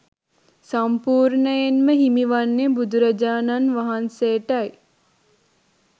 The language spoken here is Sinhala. සම්පූර්ණයෙන්ම හිමි වන්නේ බුදුරජාණන් වහන්සේටයි